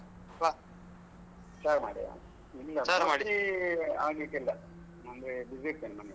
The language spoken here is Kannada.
ವ ಚಾರ್ಮಡಿಯಾ ಇಲ್ಲ ಚಾರ್ಮಾಡಿ ಆಗ್ಲಿಕ್ಕಿಲ್ಲ ಅಂದ್ರೆ busy ಇರ್ತೇನೆ ನಾನು.